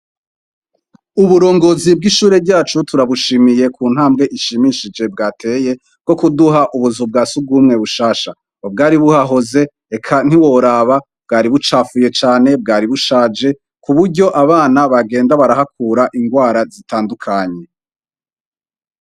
Uburongozi bwishure ryacu turabushimiye ku ntambwe ishimishije bwateye yo kuduha ubuzu bwa surwumwe bushasha. Ubwari buhahoze, eka ntiworaba bwari bucafuye cane, bwari bushaje , ku buryo abana bagenda barahakura ingwara zitandukanye.